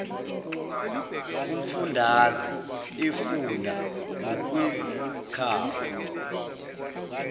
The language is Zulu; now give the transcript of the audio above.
umfundaze efunda ngokwezikhawu